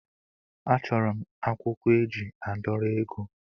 A chọrọ m akwụkwọ eji a dọrọ ego.